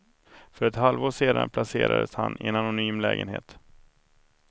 För ett halvår sedan placerades han i en anonym lägenhet.